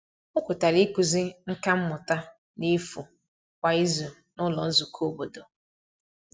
O kwetara ịkụzi nka mmụta n’efu kwa izu n’ụlọ nzukọ obodo.